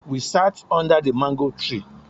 We sat under the mango tree